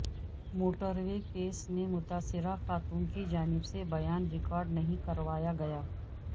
موٹروےکیس میں متاثرہ خاتون کی جانب سے بیان ریکارڈ نہیں کروایا گیا